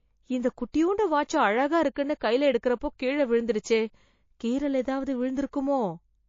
இந்த குட்டியூண்டு வாட்சு அழகா இருக்குன்னு கைல எடுக்கறப்போ கீழ விழுந்துடுச்சே... கீறல் எதாவது விழுந்துருக்குமோ...